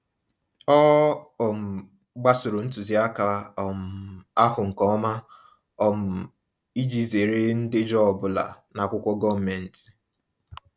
Ọ um gbasoro ntuziaka um ahụ nke ọma um iji zere ndejọ ọbụla n'akwụkwọ gọọmentị.